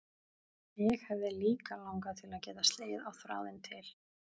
Mig hefði líka langað til að geta slegið á þráðinn til